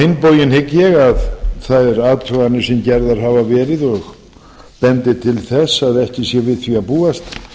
bóginn hygg ég að þær athuganir sem gerðar hafa verið bendi til þess að ekki sé við því að búast